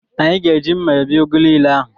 Anyị ga-eji mma ebi ugu niile ahụ.